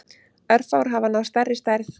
Örfáir hafa náð stærri stærð.